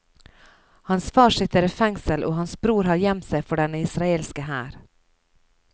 Hans far sitter i fengsel og hans bror har gjemt seg for den israelske hær.